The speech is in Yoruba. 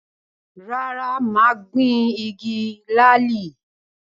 Rárá, mà á gbin “igi làálì”.